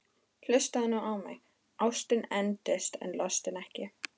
Hlustaðu nú á mig: Ástin endist en lostinn ekki!